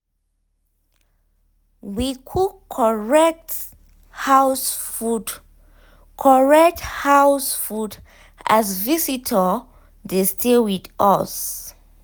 we cook correct house food correct house food as visitor dey stay with us.